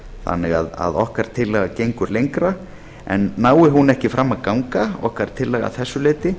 þannig að okkar tillaga gengur lengra nái okkar tillaga ekki fram að ganga að þessu leyti